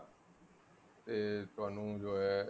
ਤੇ ਤੁਹਾਨੂੰ ਜੋ ਹੈ